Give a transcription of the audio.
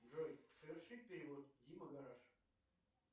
джой совершить перевод дима гараж